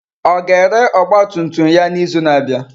Ọ ga-ere ọgba tum tum ya n'izu na-abịa?